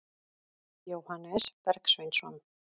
Jóhannes Bergsveinsson.